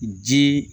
Ji